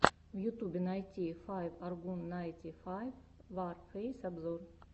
в ютубе найти файв аргун найти файв варфейс обзор